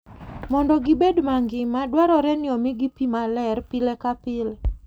Mondo gibed mangima, dwarore ni omigi pi maler pile ka pile.